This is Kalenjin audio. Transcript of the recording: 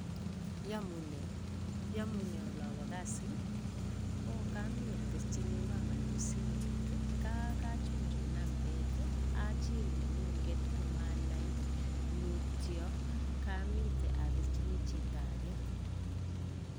Iyamune, iyamune olobo kasi? oh kami abirjini mamanyu simet nga kachunchun nambet achiil neng'ung'et komanai. Mutyo kamitei abirchini chito age.